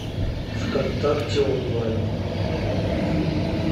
вконтакте онлайн